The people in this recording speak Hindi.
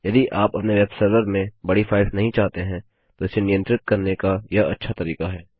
यदि आप अपने वेब सर्वर में बड़ी फाइल्स नहीं चाहते हैं तो इसे नियंत्रित करने का यह अच्छा तरीका है